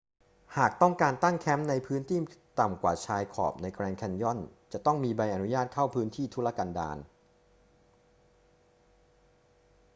หากต้องการตั้งแคมป์ในพื้นที่ต่ำกว่าชายขอบในแกรนด์แคนยอนจะต้องมีใบอนุญาตเข้าพื้นที่ทุรกันดาร